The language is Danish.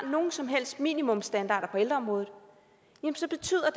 nogen som helst minimumsstandarder på ældreområdet så betyder